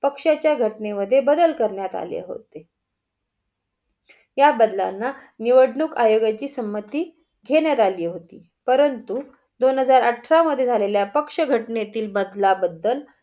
अक्षयच्या घटनेमध्ये बदल करण्यात आले होते. या बदलांना निवडणूक आयोगाची सम्मती घेण्यात अली होती परंतु, दोन हजार अठरा मध्ये झालेल्या पक्ष बदलाबदल